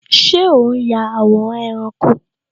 Ṣé o n ya àwòrán ẹranko?